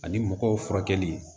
Ani mɔgɔw furakɛli